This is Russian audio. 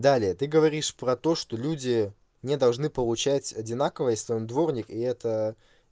далее ты говоришь про то что люди не должны получать одинаково если он дворник и это